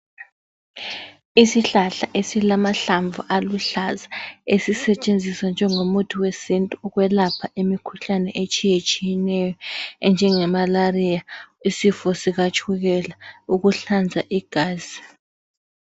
Isihlahla esilamahlamvu aluhlaza, esisetshenziswa njengomuthi wesintu ukwelapha imikhuhlane etshiyetshiyeneyo enjengemalaria, isifo sikatshukela, ukuhlanza igazi.